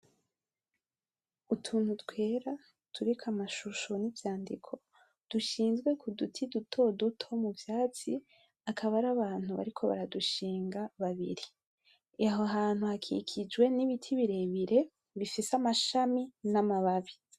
Utuntu twera, turiko amashusho n’ivyandiko dushinzwe ku duti dutoduto mu vyatsi, akaba ari abantu bariko baradushinga habiri. Aho hantu hakikijwe n’ibiti birebire bifise amashami n’amababi.